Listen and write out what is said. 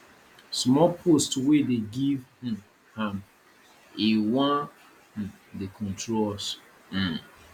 small post wey dey give um am he wan um dey control us um